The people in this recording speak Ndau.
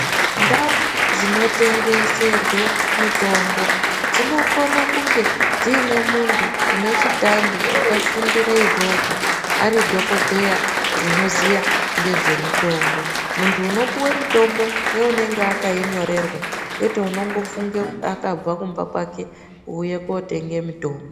Ndau dzinotengeserwe mitombo, dzinokone kunge dziine muntu une chitambi wakafundire izvozvo, ari dhokodheya unoziya ngezvemitombo. Muntu unopuwe mitombo, ngeunenge akainyorerwa ,kwete unongofunge akabva kumba kwake, wouye kootenge mitombo.